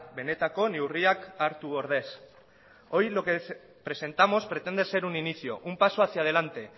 benetako neurriak hartu ordez hoy lo que presentamos pretende ser un inicio un paso hacia delante